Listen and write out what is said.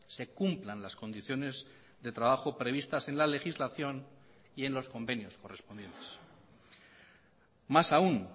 se cumplan las condiciones de trabajo previstas en la legislación y en los convenios correspondientes más aún